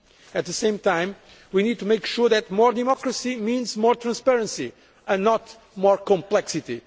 union. At the same time, we need to make sure that more democracy means more transparency and not more complexity.